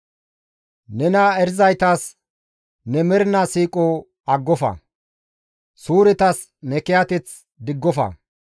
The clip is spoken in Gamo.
Nena erizaytas ne mernaa siiqoza aggofa; suuretas ne kiyateth diggofa.